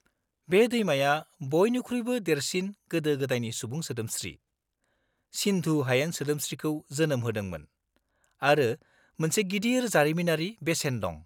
-बे दैमाया बइनिख्रुइबो देरसिन गोदो गोदायनि सुबुं सोदोमस्रि, सिन्धु हायेन सोदोमस्रिखौ जोनोम होदोंमोन आरो मोनसे गिदिर जारिमिनारि बेसेन दं।